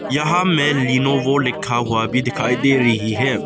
यहां में लीनेवो लिखा हुआ भी दिखाई दे रही है।